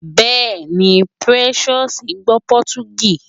Bẹ́ẹ̀ni, Precious gbọ́ Pọtugí